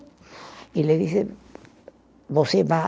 E ele disse, você vá